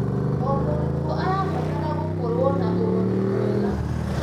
O mũrutwo arabatara gũkorwo na ũrori mwega.